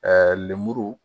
lemuru